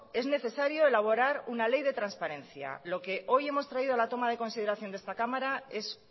es necesario elaborar una ley de transparencia lo que hoy hemos traído a la toma de consideración de esta cámara es